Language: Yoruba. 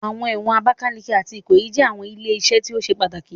Awọn ẹwọn Abakaliki ati Ikoyi jẹ awọn ile-iṣẹ ti o ṣe pataki